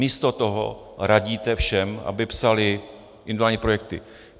Místo toho radíte všem, aby psali individuální projekty.